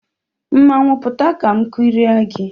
Mmanwụ pụta ka m kirie gi